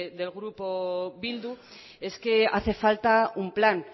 del grupo bildu es que hace falta un plan